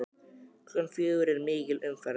Klukkan fjögur er mikil umferð.